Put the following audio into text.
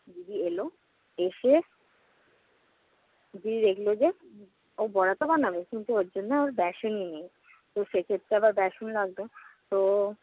দিদি এলো। এসে দিদি দেখল যে, ও বড়াতো বানাবে, কিন্তু ওর জন্য বেসনই নেই। তো সেক্ষেত্রে আবার বেসন লাগবে। তো